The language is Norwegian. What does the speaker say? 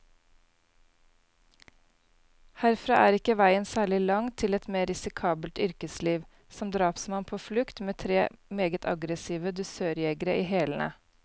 Herfra er ikke veien særlig lang til et mer risikabelt yrkesliv, som drapsmann på flukt, med tre meget aggressive dusørjegere i hælene.